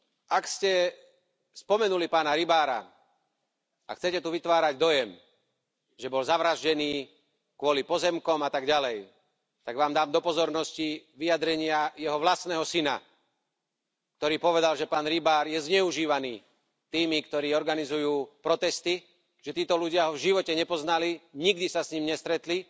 Ak ste spomenuli pána Rybára a chcete tu vytvárať dojem, že bol zavraždený kvôli pozemkom a tak ďalej, tak Vám dám do pozornosti vyjadrenia jeho vlastného syna, ktorý povedal, že pán Rybár je zneužívaný tými, ktorí organizujú protesty, že títo ľudia ho v živote nepoznali, nikdy sa s ním nestretli,